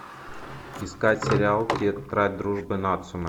искать сериал тетрадь дружбы нацумэ